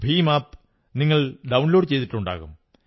Bhim app നിങ്ങൾ download ചെയ്തിട്ടുണ്ടാകും